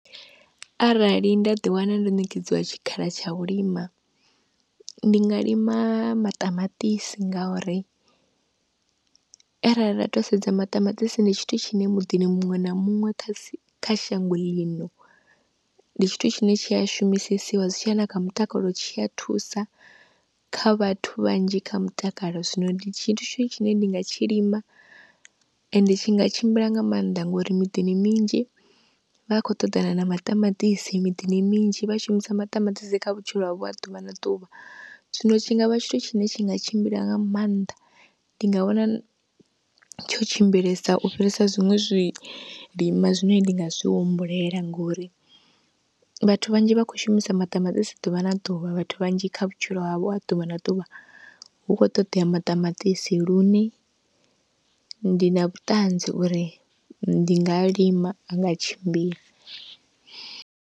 Arali nda ḓi wana ndo ṋekedziwa tshikhala tsha u lima, ndi nga lima maṱamaṱisi ngauri arali nda to sedza maṱamaṱisi ndi tshithu tshine muḓini muṅwe na muṅwe kha si kha shango ḽino ndi tshithu tshine tshi a shumisesiwa, zwitshiya na kha mutakalo tshi a thusa kha vhathu vhanzhi kha mutakalo, zwino ndi tshithu tshine ndi nga tshi lima, ende tshi nga tshimbila nga maanḓa ngori miḓini minzhi vha khou ṱoḓana na maṱamaṱisi, miḓini minzhi vha shumisa maṱamaṱisi kha vhutshilo havho ha ḓuvha na ḓuvha. Zwino tshingavha tshithu tshine tshi nga tshimbila nga maanḓa, ndi nga wana tsho tshimbilesa u fhirisa zwiṅwe zwilima zwine ndi nga zwi humbulela ngori vhathu vhanzhi vha khou shumisa maṱamaṱisi ḓuvha na ḓuvha, vhathu vhanzhi kha vhutshilo havho ha ḓuvha na ḓuvha hu khou ṱoḓea maṱamaṱisi lune ndi na vhuṱanzi uri ndi nga lima a nga tshimbila.